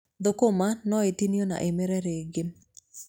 Thũkũma no itinio na imere rĩngĩ.